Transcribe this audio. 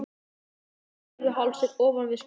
Fimmvörðuháls er ofan við Skógafoss.